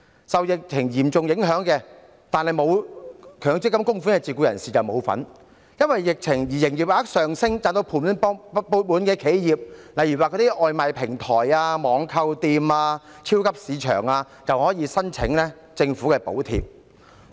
受疫情影響但沒有強積金供款的自僱人士不能受惠，因為疫情而營業額上升，賺至盤滿缽滿的企業，例如外賣平台、網購店和超級市場，卻可以申請政府的補貼。